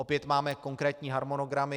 Opět máme konkrétní harmonogramy.